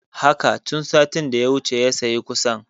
Haka, tun satin da ya wuce ya sayi ƙusan